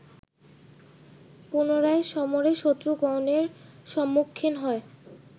পুনরায় সমরে শত্রুগণের সম্মুখীন হয়